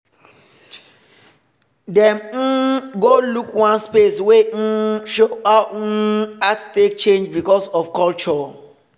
dem um go look one space wey um show how um art take change because of culture.